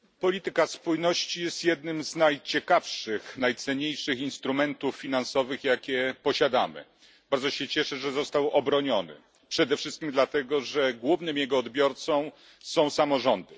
Panie Przewodniczący! Polityka spójności jest jednym z najciekawszych i najcenniejszych instrumentów finansowych, jakie posiadamy. Bardzo się cieszę, że został on obroniony. Przede wszystkim dlatego, że jego głównym odbiorcą są samorządy.